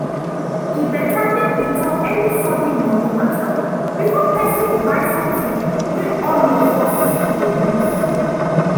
e better make we talk any sudden money matter before person buy something wey all of us go use.